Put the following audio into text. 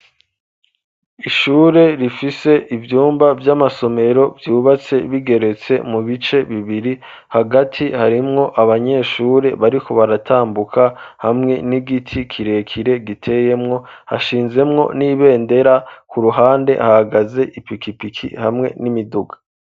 Ishure rifise ivyumba vy'amasomero vyubatse bigeretse mu bice bibiri hagati harimwo abanyeshure bariko baratambuka hamwe n'igiti kirekire giteyemwo hashinzemwo n'ibendera ku ruhande hahagaze ipikipiki hamwe n'imiduga.